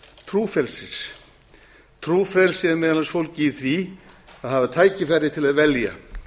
trúfrelsis trúfrelsi er meðal annars fólgið í því að hafa tækifæri til að velja